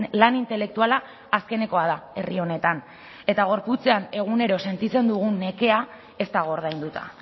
lan intelektuala azkenekoa da herri honetan eta gorputzean egunero sentitzen dugun nekea ez dago ordainduta